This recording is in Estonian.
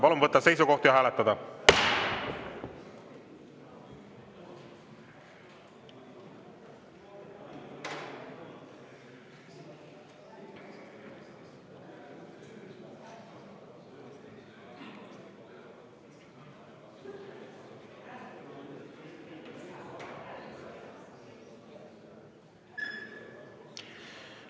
Palun võtta seisukoht ja hääletada!